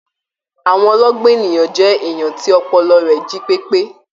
Àwọn ọlọgbọn ènìyàn jẹ èèyàn tí ọpọlọ rẹ jí pepe.